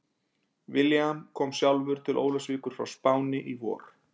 William kom sjálfur til Ólafsvíkur frá Spáni í vor.